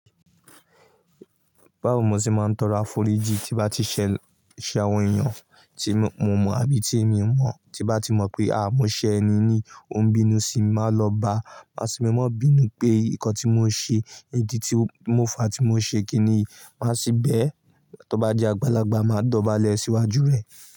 Báwo mo ṣe máa ń tọrọ áforóìjì tí bá ti ṣẹ àwọn èèyàn tí mo mọ̀ àbí tí èmi o mọ̀, tí bá ti mọ̀ pé, àáà mọ ṣe ẹni yi ó ń bínú sí mi, màá lọ bá. Máa sì ní mọ bínú pé nǹkan tí mo ṣe, ìdí tí mo fàá tí mo ṣe kínì yí màá sì bẹ́ ẹ. Tóbá jé àgbàlagbà, màá dọ̀bálẹ̀ sí iwájú rẹ̀